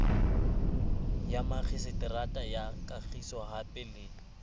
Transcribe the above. ya makgiseterata ya kagisohape le